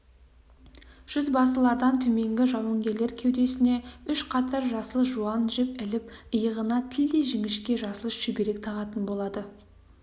жүзбасылардан төменгі жауынгерлер кеудесіне үш қатар жасыл жуан жіп іліп иығына тілдей жіңішке жасыл шүберек тағатын болады